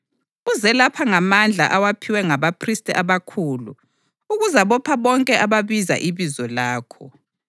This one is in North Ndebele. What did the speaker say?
Uze lapha ngamandla awaphiwe ngabaphristi abakhulu ukuzabopha bonke ababiza ibizo lakho.”